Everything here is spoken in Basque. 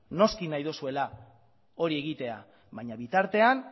noski nahi dozuela hori egitea baina bitartean